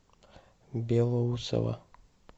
белоусово